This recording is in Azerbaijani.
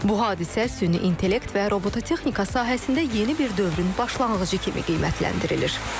Bu hadisə süni intellekt və robototexnika sahəsində yeni bir dövrün başlanğıcı kimi qiymətləndirilir.